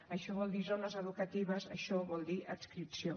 això vol dir zones educatives això vol dir adscripció